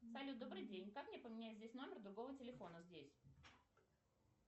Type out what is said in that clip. салют добрый день как мне поменять здесь номер другого телефона здесь